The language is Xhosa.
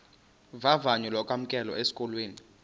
vavanyo lokwamkelwa esikolweni